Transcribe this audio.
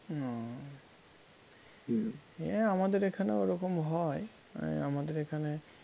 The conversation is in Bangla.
এ আমাদের এখানেও ওরকম হয় মানে আমাদের এখানে